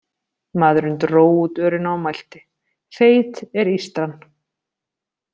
Maðurinn dró út örina og mælti: Feit er ístran.